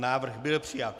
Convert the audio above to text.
Návrh byl přijat.